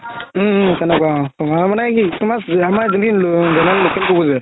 উম উম তেনেকুৱা অ তুমাৰ মানে কি তুমাৰ local কুকুৰ যে